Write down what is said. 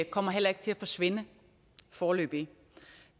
kommer heller ikke til at forsvinde foreløbig